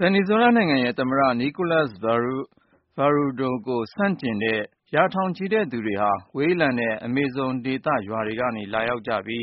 ဗင်နီဇွဲလားနိုင်ငံ သမ္မတ Nicolas Maduro ကို ဆန့်ကျင်တဲ့ ရာထောင်ချီတဲ့သူတွေဟာ ဝေးလံတဲ့ အမေဇုံဒေသ ရွာတွေကနေလာရောက် ကြပြီး